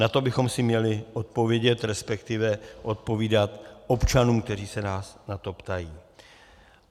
Na to bychom si měli odpovědět, respektive odpovídat občanům, kteří se nás na to ptají.